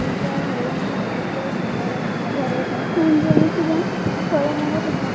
ଏଇଟା ହୋଉଛି ବୋହୁତ ସୁନ୍ଦର ଭାବରେ ଦେଖାଯାଉଥିବା ଫଳମୂଳ ଦୋକା --